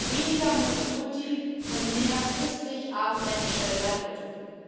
Weniger Multikulti und mehr christlich abendländische Leitkultur.